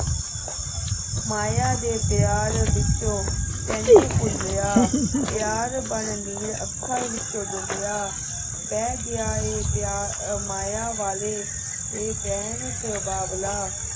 ਮਾਇਆ ਦੇ ਪਿਆਰ ਵਿਚੋਂ ਤੈਨੂੰ ਭੁੱਲਿਆ ਪਿਆਰ ਬਣ ਨੀਰ ਅੱਖਾਂ ਵਿਚੋਂ ਡੁੱਲਿਆ ਬਹਿ ਗਿਆ ਏ ਅਹ ਪਿਆਰ ਮਾਇਆ ਵਾਲੇ ਇਹ ਵਹਿਣ ਚ ਬਾਬਲਾ